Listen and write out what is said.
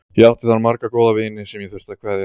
Ég átti þar marga góða vini sem ég þurfti að kveðja.